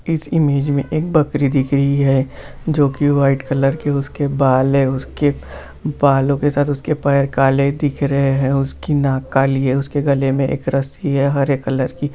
इस इमेज मे एक बकरी दिख रही है जो की व्हाइट कलर के उसके बाल है उसके बालो के साथ उसके पैर काले दिख रहे है उसकी नाक काली है उसके गले मे एक रस्सी है हरे कलर की।